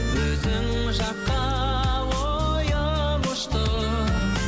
өзің жаққа ойым ұшты